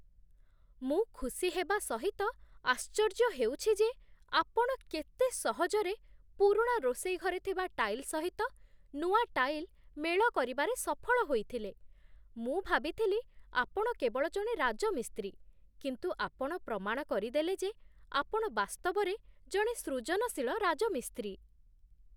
ମୁଁ ଖୁସି ହେବା ସହିତ ଆଶ୍ଚର୍ଯ୍ୟ ହେଉଛି ଯେ ଆପଣ କେତେ ସହଜରେ ପୁରୁଣା ରୋଷେଇ ଘରେ ଥିବା ଟାଇଲ୍ ସହିତ ନୂଆ ଟାଇଲ୍ ମେଳ କରିବାରେ ସଫଳ ହୋଇଥିଲେ ମୁଁ ଭାବିଥିଲି ଆପଣ କେବଳ ଜଣେ ରାଜମିସ୍ତ୍ରୀ, କିନ୍ତୁ ଆପଣ ପ୍ରମାଣ କରିଦେଲେ ଯେ ଆପଣ ବାସ୍ତବରେ ଜଣେ ସୃଜନଶୀଳ ରାଜମିସ୍ତ୍ରୀ।